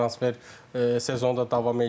transfer sezonda davam eləyir.